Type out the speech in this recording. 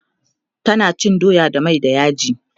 tana cin doya da mai da yaji